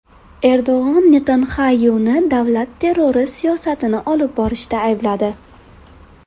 Erdo‘g‘on Netanyaxuni davlat terrori siyosatini olib borishda aybladi.